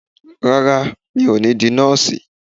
Rárá, mi ò ní di Nọ́ọ̀sì